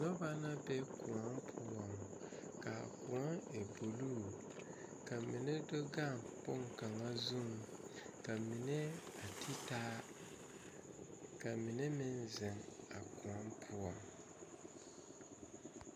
Noba la be koɔ poɔ kaa koɔ e buluu ka mine do gaŋ boŋkaŋa zuiŋ ka mine a te taa ka mine meŋ ziŋ a koɔ poɔŋ.